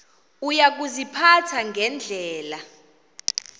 uya kuziphatha ngendlela